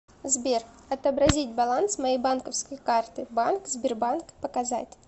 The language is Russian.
сбер отобразить баланс моей банковской карты банк сбербанк показать